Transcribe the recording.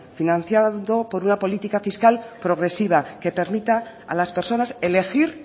financiado por una política fiscal progresiva que permita a las personas elegir